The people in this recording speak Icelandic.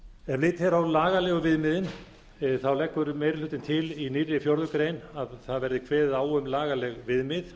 litið er á lagalegu viðmiðin leggur meiri hlutinn leggur til í nýrri fjórðu grein verði kveðið á um lagaleg viðmið